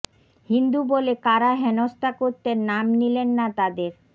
হিন্দু বলে কারা হেনস্থা করতেন নাম নিলেন না তাদের